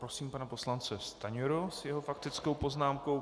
Prosím pana poslance Stanjuru s jeho faktickou poznámkou.